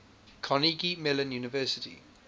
carnegie mellon university